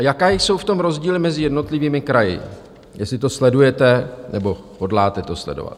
A jaké jsou v tom rozdíly mezi jednotlivými kraji, jestli to sledujete nebo hodláte to sledovat?